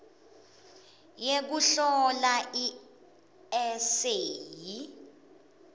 yekuhlola i eseyi